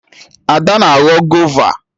Ada na-aghọ gova